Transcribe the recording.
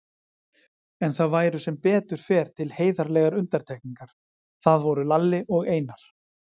En það væru sem betur fer til heiðarlegar undantekningar, það voru Lalli og Einar.